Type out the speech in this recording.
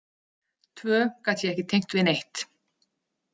Tvö gat ég ekki tengt við neitt.